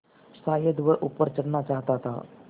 शायद वह ऊपर चढ़ना चाहता था